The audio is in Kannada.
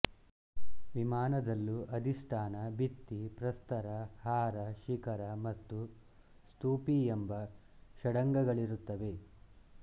ವಿಮಾನದಲ್ಲೂ ಅಧಿಷ್ಠಾನ ಭಿತ್ತಿ ಪ್ರಸ್ತರ ಹಾರ ಶಿಖರ ಮತ್ತು ಸ್ತೂಪಿ ಎಂಬ ಷಡಂಗಗಳಿರುತ್ತವೆ